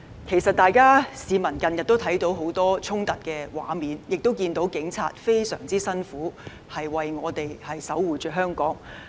其實市民近日看到很多衝突的畫面，亦看到警察非常辛苦工作，為我們守護香港。